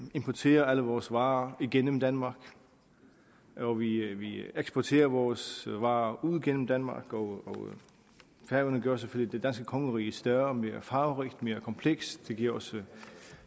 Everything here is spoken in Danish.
importerer alle vores varer gennem danmark og vi eksporterer vores varer ud gennem danmark og færøerne gør selvfølgelig det danske kongerige større mere farverigt og mere komplekst det giver også